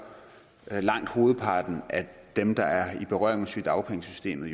langt hovedparten af dem der er i berøring med sygedagpengesystemet